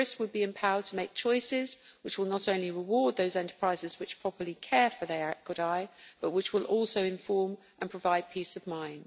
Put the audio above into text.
Tourists would be empowered to make choices, which will not only reward those enterprises which properly care for their equidae but will also inform and provide peace of mind.